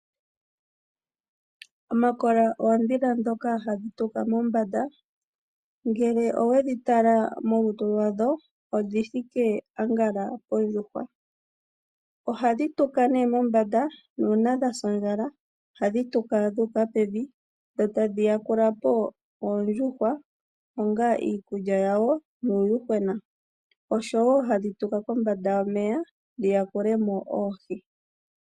Omakola oondhila dhoka hadhi tuka mombanda, ngele oweli tala molutu lwadho odhi thike ambala pondjuhwa. Ohadhi tuka nee mombanda nuuna dha sa ondjala ohadhi tuka dhu uka pevi, dho tadhi yakula po Oondjuhwa onga iikulya yawo nuuyuhwena. Osho wo hadhi tuka kombanda yomeya dhi yakule mo Oohi.